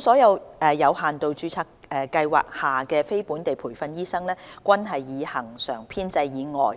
所有有限度註冊計劃下的非本地培訓醫生，均是以恆常編制以外